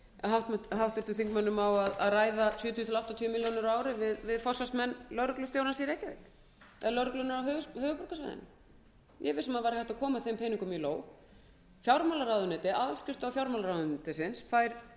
forsvarsmenn lögreglustjórans í reykjavík lögregluna á höfuðborgarsvæðinu ég er viss um að það væri hægt að koma þeim peningum í lóg áskrift fjármálaráðuneytisins fær sex